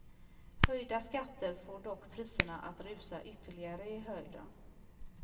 Höjda skatter får dock priserna att rusa ytterligare i höjden.